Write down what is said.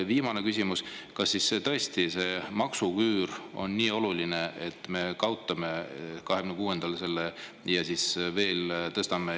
Ja viimane küsimus: kas siis tõesti see maksuküür on nii oluline, et me kaotame selle 2026‑ndal ja siis veel tõstame …